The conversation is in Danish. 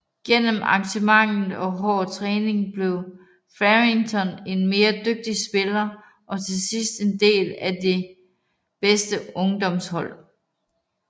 Gennem engagement og hård træning blev Fearrington en mere dygtig spiller og til sidste en del af det bedste ungdomshold